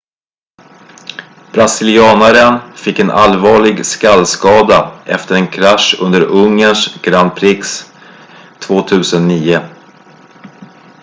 brasilianen fick en allvarlig skallskada efter en krasch under ungerns grand prix 2009